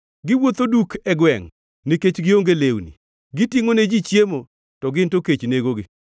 Giwuotho duk e gwengʼ nikech gionge lewni; gitingʼo ne ji chiemo to gin to kech negogi.